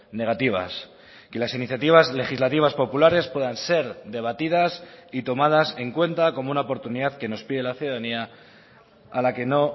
negativas que las iniciativas legislativas populares puedan ser debatidas y tomadas en cuenta como una oportunidad que nos pide la ciudadanía a la que no